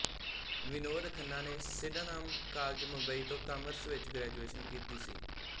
ਵਿਨੋਦ ਖੰਨਾ ਨੇ Sydenham college Mumbai ਤੋਂ commerce ਵਿੱਚ ਗ੍ਰੈਜੂਏਸ਼ਨ ਕੀਤੀ ਸੀ